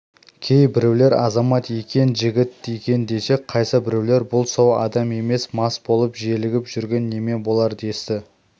кейбіреулер азамат екен жігіт екен десе қайсыбіреулер бұл сау адам емес мас болып желігіп жүрген неме болар десті